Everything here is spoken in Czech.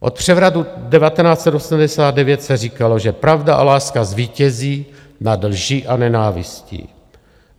Od převratu 1989 se říkalo, že pravda a láska zvítězí nad lží a nenávistí.